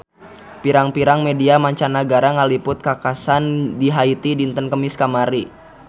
Pirang-pirang media mancanagara ngaliput kakhasan di Haiti dinten Kemis kamari